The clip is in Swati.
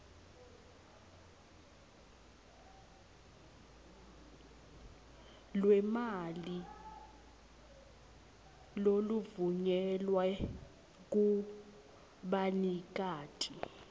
lwemali loluvunyelwe kubanikati